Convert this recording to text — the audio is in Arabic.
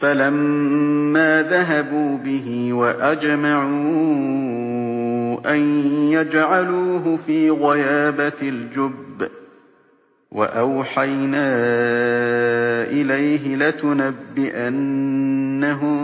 فَلَمَّا ذَهَبُوا بِهِ وَأَجْمَعُوا أَن يَجْعَلُوهُ فِي غَيَابَتِ الْجُبِّ ۚ وَأَوْحَيْنَا إِلَيْهِ لَتُنَبِّئَنَّهُم